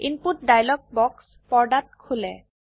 input dialog বাক্স পর্দাত খোলে